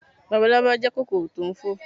Labalábá jẹ́ kòkòrò tò n fò